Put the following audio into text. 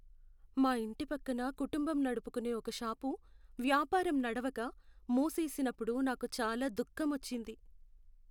మా ఇంటి పక్కన కుటుంబం నడుపుకునే ఒక షాపు, వ్యాపారం నడవక, మూసేసినప్పుడు నాకు చాలా దుఃఖమొచ్చింది.